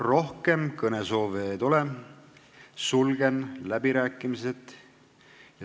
Rohkem kõnesoove ei tule, sulgen läbirääkimised.